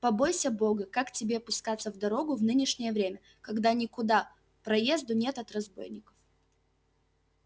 побойся бога как тебе пускаться в дорогу в нынешнее время когда никуда проезду нет от разбойников